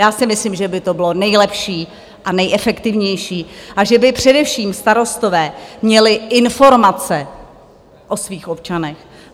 Já si myslím, že by to bylo nejlepší a nejefektivnější a že by především starostové měli informace o svých občanech.